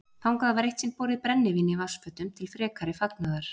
Þangað var eitt sinn borið brennivín í vatnsfötum til frekari fagnaðar.